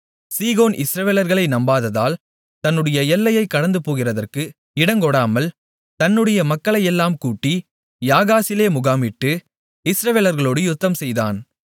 சீகோன் இஸ்ரவேலர்களை நம்பாததால் தன்னுடைய எல்லையைக் கடந்துபோகிறதற்கு இடங்கொடாமல் தன்னுடைய மக்களையெல்லாம் கூட்டி யாகாசிலே முகாமிட்டு இஸ்ரவேலர்களோடு யுத்தம்செய்தான்